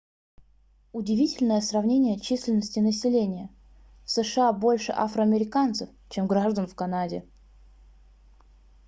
удивительное сравнение численности населения в сша больше афроамериканцев чем граждан в канаде